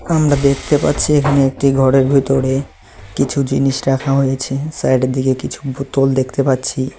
আমরা দেখতে পাচ্ছি এখানে একটি ঘরের ভিতরে কিছু জিনিস রাখা হয়েছে সাইডের দিকে কিছু বোতল দেখতে পাচ্ছি।